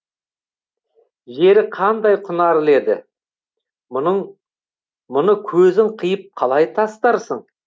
жері қандай құнарлы еді мұны көзің қиып қалай тастарсың